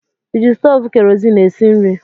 Ị ji stovu kerozin esi nri?